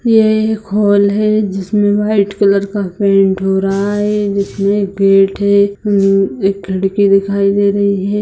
ये एक होल है जिसमे व्हाइट कलर का पेंट हो रहा है जिसमे गेट है एक खिड़की दिखाई दे रही है।